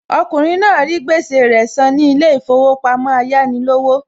Okùnrin náà rí gbèsè rẹ san ní ilé ìfowópamọ́ Ayánilówó